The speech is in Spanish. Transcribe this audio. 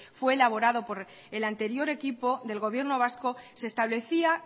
fue elaborado por el anterior equipo del gobierno vasco se establecía